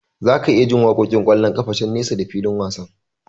Zaka iya jin waƙoƙin ƙwallon kafa can nesa da fikin wasan.